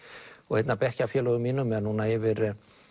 einn af bekkjarfélögum mínum er núna yfir